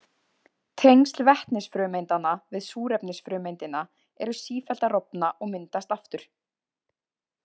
Tengsl vetnisfrumeindanna við súrefnisfrumeindina eru sífellt að rofna og myndast aftur.